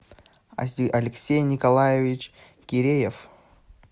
алексей николаевич киреев